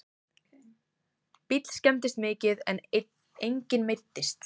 Bíll skemmdist mikið en enginn meiddist